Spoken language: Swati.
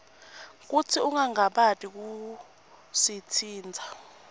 kutsi ungangabati kusitsintsa